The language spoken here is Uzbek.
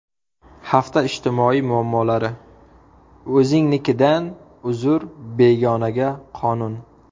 Hafta ijtimoiy muammolari: O‘zingnikidan uzr, begonaga qonun.